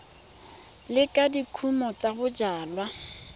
lekala la dikumo tsa bojalwa